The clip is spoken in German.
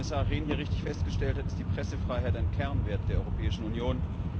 Wie Kommissar Rehn hier richtig festgestellt hat, ist die Pressefreiheit ein Kernwert der Europäischen Union.